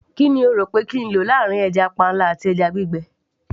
kí ni o rò pé kí n lò láàrin stock fish àti dried fish